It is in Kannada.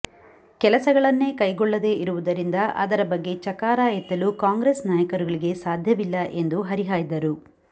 ಕೆಲಸಗಳನ್ನೇ ಕೈಗೊಳ್ಳದೇ ಇರುವುದರಿಂದ ಅದರ ಬಗ್ಗೆ ಚಕಾರ ಎತ್ತಲು ಕಾಂಗ್ರೆಸ್ ನಾಯಕರುಗಳಿಗೆ ಸಾಧ್ಯವಿಲ್ಲ ಎಂದು ಹರಿಹಾಯ್ದರು